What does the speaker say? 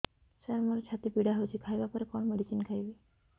ସାର ମୋର ଛାତି ପୀଡା ହଉଚି ଖାଇବା ପରେ କଣ ମେଡିସିନ ଖାଇବି